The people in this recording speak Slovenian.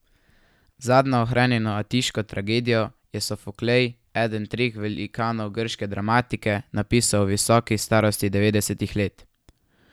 Zadnjo ohranjeno atiško tragedijo je Sofoklej, eden treh velikanov grške dramatike, napisal v visoki starosti devetdesetih let.